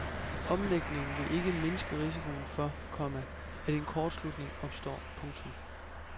Omlægningen vil ikke mindske risikoen for, komma at en kortslutning opstår. punktum